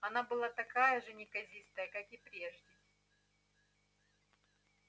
она была так же неказиста как и прежде